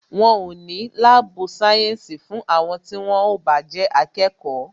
Wọn o ní sí láàbù sayensi fún àwọn tí wón o bá jẹ́ akẹ́kọ̀ọ́